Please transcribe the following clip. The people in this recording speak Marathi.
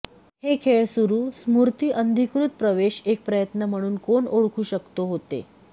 हे खेळ सुरू स्मृती अनधिकृत प्रवेश एक प्रयत्न म्हणून कोण ओळखू शकतो होते